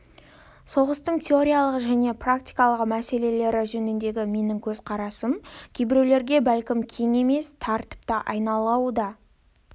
соғыстың теориялық және практикалық мәселелері жөніндегі менің көзқарасым кейбіреулерге бәлкім кең емес тар тіпті анайылау да